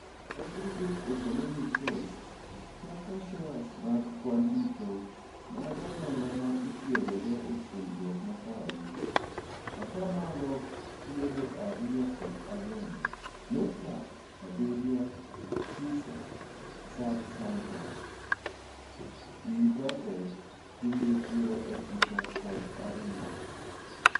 Aggregade economic cost kaka shares mag kwan duto mag omenda ma otiigodo e puonjruok makawaida , ataa malo piero ariyo kod ang'wen nukta abirio PISA subsample (pinje piero ochiko kod ariyo)